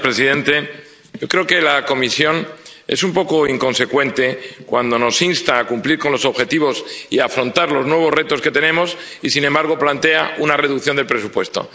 Señor presidente, yo creo que la Comisión es un poco inconsecuente cuando nos insta a cumplir los objetivos y a afrontar los nuevos retos que tenemos y, sin embargo, plantea una reducción del presupuesto.